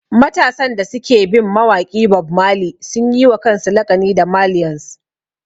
Matasan da suke bin mawaƙi Bob Marley sun yi wa kansu laƙani da ''Marlians''